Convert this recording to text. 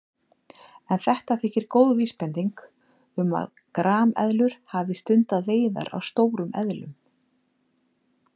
En þetta þykir góð vísbending um að grameðlur hafi stundað veiðar á stórum eðlum.